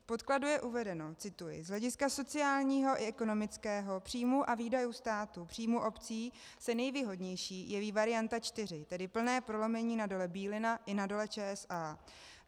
V podkladu je uvedeno - cituji: "Z hlediska sociálního i ekonomického, příjmů a výdajů státu, příjmů obcí se nejvýhodnější jeví varianta čtyři, tedy plné prolomení na Dole Bílina i na Dole ČSA.